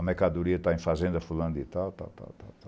A mercadoria está em fazenda, fulano de tal, tal, tal, tal, tal.